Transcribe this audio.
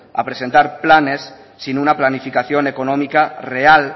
a presentar planes sin una planificación económica real